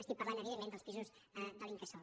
estic parlant evidentment dels pisos de l’incasòl